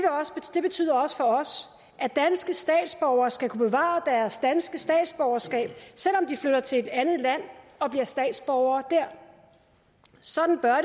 det betyder også for os at danske statsborgere skal kunne bevare deres danske statsborgerskab selv om de flytter til et andet land og bliver statsborgere der sådan bør